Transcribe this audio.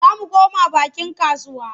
Za mu koma bakin kasuwa.